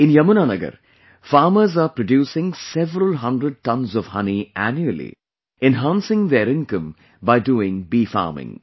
In Yamuna Nagar, farmers are producing several hundred tons of honey annually, enhancing their income by doing bee farming